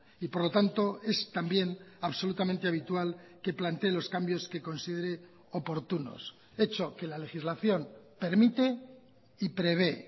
y por lo tanto es también absolutamente habitual que plantee los cambios que considere oportunos hecho que la legislación permite y prevé